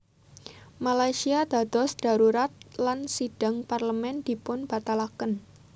Malaysia dados dharurat lan sidhang Parlemén dipunbatalaken